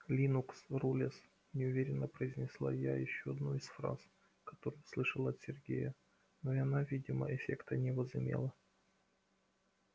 линукс рулез неуверенно произнесла я ещё одну из фраз которую слышала от сергея но и она видимого эффекта не возымела